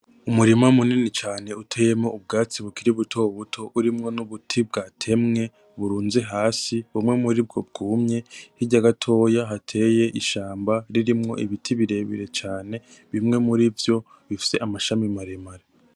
Umurima munini cane uteyemwo ubwatsi bukiri butobuto, urimwo nubuti bwatemwe burunze hasi bumwe muribwo bwumye , hirya gatoya hateye ishamba ririmwo ibiti birebire cane bimwe murivyo bifise amashami maremare.